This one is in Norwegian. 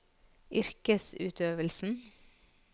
yrkesutøvelsen